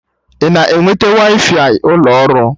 Ị na-enweta waifai ụlọ ọrụ?